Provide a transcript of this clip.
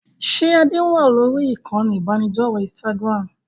Ṣé Adé wá lórí ìkànnì ibanidọ̀rẹ́ Instagram?